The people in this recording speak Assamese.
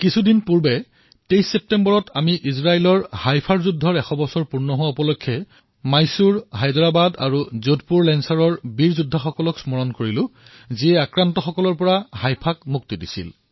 কিছুদিন পূৰ্বে ২৩ ছেপ্টেম্বৰত আমি ইজৰাইলত হাইফা যুদ্ধৰ এশ বৰ্ষ সমাপ্তিত মহীশূৰ হায়দৰাবাদ আৰু যোধপুৰ লেঞ্চাৰৰ আমাৰ বীৰ সৈনিকসকলক সোঁৱৰণ কৰিলো যিসকলে আক্ৰমণকাৰীসকলৰ পৰা হাইফাক মুক্তি প্ৰদান কৰিছিল